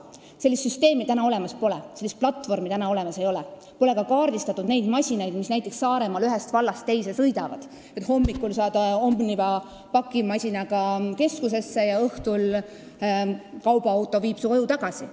Sellist süsteemi ega platvormi täna olemas ei ole, pole ka kaardistatud neid masinaid, mis näiteks Saaremaal ühest vallast teise sõidavad, kuigi võiks olla võimalik, et hommikul saaks Omniva pakimasinaga keskusesse ja õhtul kaubaauto viiks su koju tagasi.